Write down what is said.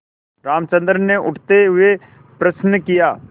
रामचंद्र ने उठते हुए प्रश्न किया